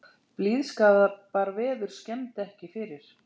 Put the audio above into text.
Blíðskaparveður skemmdi ekki fyrir